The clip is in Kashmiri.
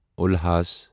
اُلحاس